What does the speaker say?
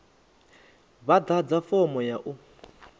vha ḓadze fomo ya u